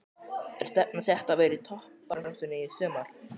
Er stefnan sett á að vera í toppbaráttunni í sumar?